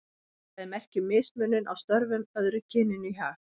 Það er merki um mismunun á störfum, öðru kyninu í hag.